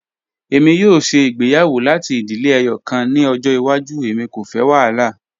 Emi yoo ṣe igbeyawo lati idile ẹyọkan ni ọjọ iwaju, emi ko fẹ wahala.